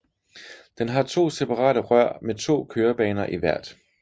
Den har to separate rør med to kørebaner i hvert